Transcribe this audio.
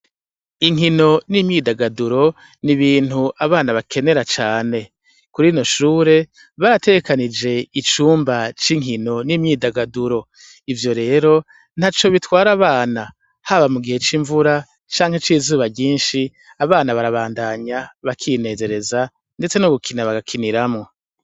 Inkino n'imyidagaduro n'ibintu abana bakenera cane. Kuri rino shure barategekanije icumba c'inkino n'imyidagaduro. Ivyo rero ntaco bitwara abana, haba mu gihe c'imvura canke c'izuba ryinshi. Abana barabandanya bakinezereza, ndetse no gukina bagakiniramo.